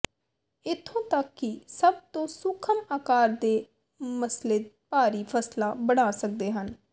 ਇੱਥੋਂ ਤੱਕ ਕਿ ਸਭ ਤੋਂ ਸੂਖਮ ਆਕਾਰ ਦੇ ਮਸਲੇ ਭਾਰੀ ਫਸਲਾਂ ਬਣਾ ਸਕਦੇ ਹਨ